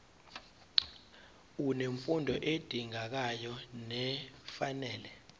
unemfundo edingekayo nefanele